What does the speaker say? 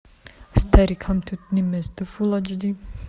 старикам тут не место фул айч ди